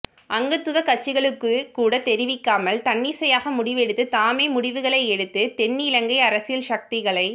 அங்கத்துவக் கட்சிகளுக்குக்கூட தெரிவிக்காமல் தன்னிச்சையாக முடிவெடுத்து தாமே முடிவுகளை எடுத்து தென்னிலங்கை அரசியல் சக்திகளைத்